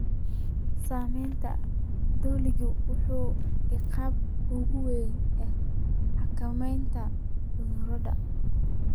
Saamaynta dulinku waa caqabadda ugu weyn ee xakameynta cudurrada.